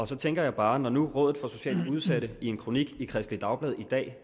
så tænker jeg bare at når nu formanden rådet for socialt udsatte jann i en kronik i kristeligt dagblad i dag